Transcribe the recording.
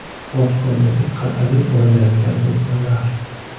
Portkoldagi qal’aga urilayotgan to‘lqinlar.